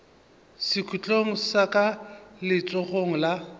sekhutlong sa ka letsogong la